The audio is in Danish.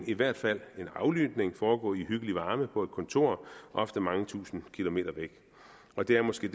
i hvert fald en aflytning foregå i hyggelig varme på et kontor ofte mange tusinde kilometer væk og det er måske